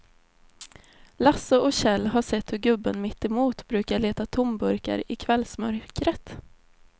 Lasse och Kjell har sett hur gubben mittemot brukar leta tomburkar i kvällsmörkret.